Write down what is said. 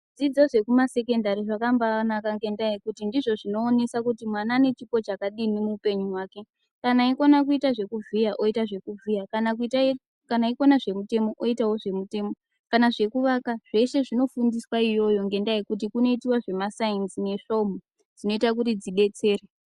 Zvidzidzo zvekumasekendari zvakambanaka ngendaa yekuti ndizvo zvinoonesa kuti mwana ane chipo chakadini muupenyu hwake. Kana eikona kuita zvekuvhiya, oita zvekuvhiya, kana eikona zvemutemo, oitawo zvemutemo, kana zvekuvaka zveshe zvinofundiswa iyoyo ngendaa yekuti kunoitiwa zvemaSainzi neSvomhu dzinoita kuti dzidetsere.